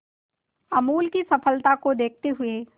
अमूल की सफलता को देखते हुए